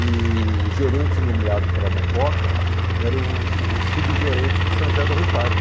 E o gerente nomeado para a Mucoca era o o subgerente de São José do Rio Pardo.